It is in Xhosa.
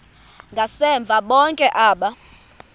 ngasemva bonke aba